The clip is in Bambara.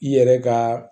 I yɛrɛ ka